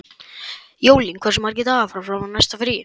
Jólín, hversu margir dagar fram að næsta fríi?